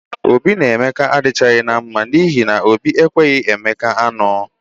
Obi na Emeka adịchaghị mma n'ihi na Obi ekenyeghị Emeka anụ ya